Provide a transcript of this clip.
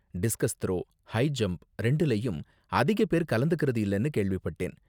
Discuss throw, high jump ரெண்டுலயும் அதிக பேர் கலந்துக்கறது இல்லனு கேள்விப்பட்டேன்.